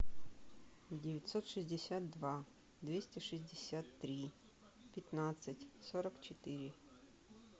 девятьсот шестьдесят два двести шестьдесят три пятнадцать сорок четыре